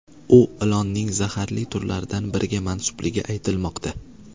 U ilonning zaharli turlaridan biriga mansubligi aytilmoqda.